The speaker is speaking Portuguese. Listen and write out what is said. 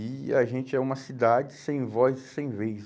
E a gente é uma cidade sem voz e sem vez.